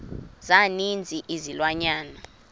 za ninzi izilwanyana